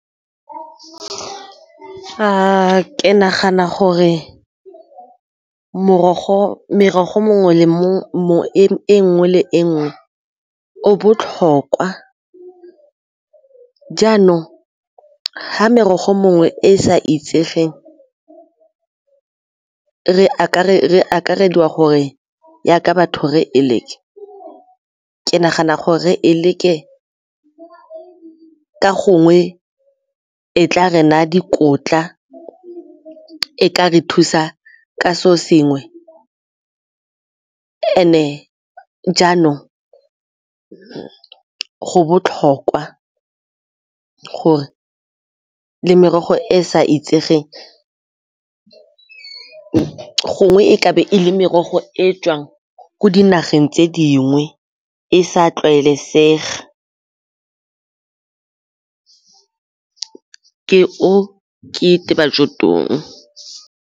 Ke nagana gore merogo e nngwe le e nngwe o botlhokwa jaanong ga merogo mongwe e e sa itsegeng re akarediwa gore jaaka batho re e leke ke nagana gore re e leke ka gongwe e tla re naya dikotla, e ka re thusa ka seo sengwe and-e jaanong go botlhokwa gore le merogo e sa itsegeng gongwe e ka be e le merogo e e tswang ko dinageng tse dingwe e sa tlwaelesega, ke o .